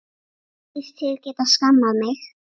Þykist þið geta skammað mig!